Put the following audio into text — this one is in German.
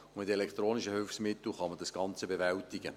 Und mit elektronischen Hilfsmitteln kann man das Ganze bewältigen.